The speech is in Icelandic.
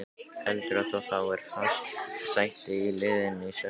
Heldurðu að þú fáir fast sæti í liðinu í sumar?